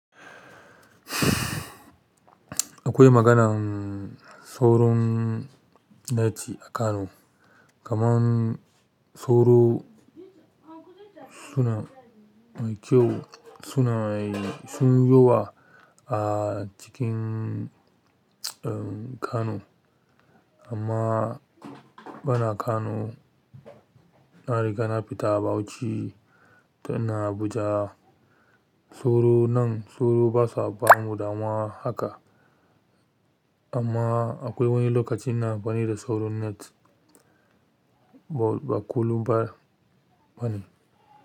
Akwai maganan sauron net a Kano, kaman sauro suna kyau suna sun yi yawa a cikin Kano. Amma bana Kano, na riga na fita Bauchi, tun ina Abuja. Sauro nan sauro basa ba mu damuwa haka. Amma akwai wani lokacin ina amfani da sauron net. Ba kullum ba bane.